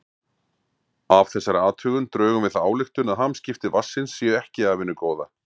Af þessari athugun drögum við þá ályktun að hamskipti vatnsins séu ekki af hinu góða.